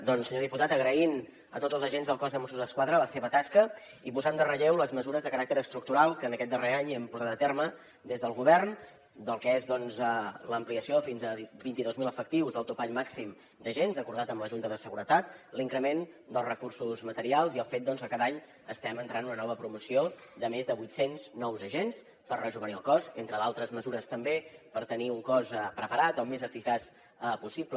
doncs senyor diputat agraint a tots els agents del cos de mossos d’esquadra la seva tasca i posant en relleu les mesures de caràcter estructural que en aquest darrer any hem portat a terme des del govern del que és doncs l’ampliació fins a vint i dos mil efectius del topall màxim d’agents acordat amb la junta de seguretat l’increment dels recursos materials i el fet doncs que cada any estem entrant una nova promoció de més de vuit cents nous agents per rejovenir el cos entre d’altres mesures també per tenir un cos preparat el més eficaç possible